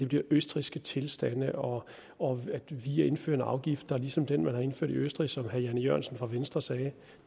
bliver østrigske tilstande og og at vi indfører en afgift der er ligesom den man har indført i østrig som herre jan e jørgensen fra venstre sagde